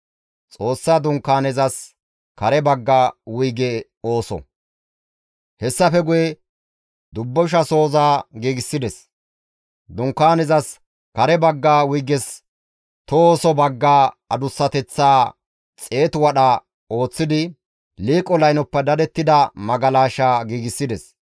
Hessafe guye dubbushasoza giigsides. Dunkaanezas kare bagga wuyges tohoso bagga adussateththaa xeetu wadha ooththidi, liiqo laynoppe dadettida magalasha giigsides.